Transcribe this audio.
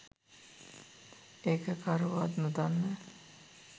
ඒක කවුරුවත් නොදන්න